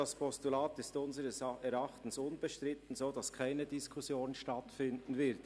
«Das Postulat ist unseres Erachtens unbestritten, sodass keine Diskussion stattfinden wird.